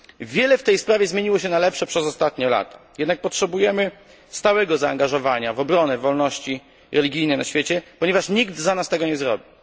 Wiele w tej sprawie zmieniło się na lepsze przez ostatnie lata, jednak potrzebujemy stałego zaangażowania w obronę wolności religijnej na świecie, ponieważ nikt za nas tego nie zrobi.